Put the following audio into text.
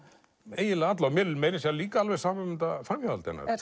eiginlega alla mér er meira að segja líka alveg sama um þetta framhjáhald hennar